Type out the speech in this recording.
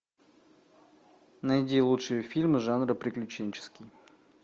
найди лучшие фильмы жанра приключенческий